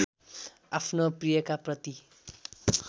आफ्नो प्रियका प्रति